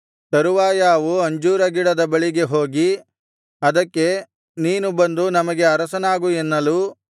ತರುವಾಯ ಅವು ಅಂಜೂರ ಗಿಡದ ಬಳಿಗೆ ಹೋಗಿ ಅದಕ್ಕೆ ನೀನು ಬಂದು ನಮಗೆ ಅರಸನಾಗು ಎನ್ನಲು